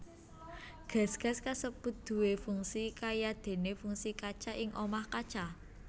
Gas gas kasebut duwé fungsi kayadéné fungsi kaca ing omah kaca